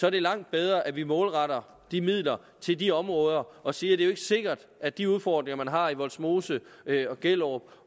er langt bedre at vi målretter de midler til de områder og siger det er sikkert at de udfordringer man har i vollsmose gellerup